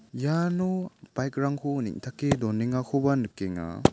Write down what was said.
iano baik rangko neng·take donengakoba nikenga.